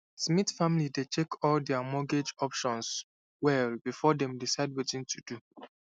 smith family dey check all their mortgage options well before dem decide wetin to do